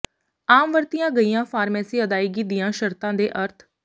ਆਮ ਵਰਤੀਆਂ ਗਈਆਂ ਫਾਰਮੇਸੀ ਅਦਾਇਗੀ ਦੀਆਂ ਸ਼ਰਤਾਂ ਦੇ ਅਰਥ